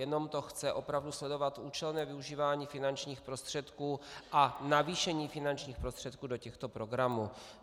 Jenom to chce opravdu sledovat účelné využívání finančních prostředků a navýšení finančních prostředků do těchto programů.